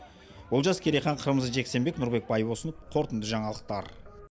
олжас керейхан қырмызы жексенбек нұрбек байбосын қорытынды жаңалықтар